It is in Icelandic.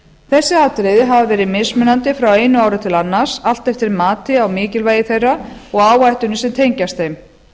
þessi atriði hafa verið mismunandi frá einu ári til annars allt eftir mati á mikilvægi þeirra og áhættunni sem tengist þeim